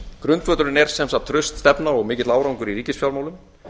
grundvöllurinn er sem sagt traust stefna og mikill árangur í ríkisfjármálum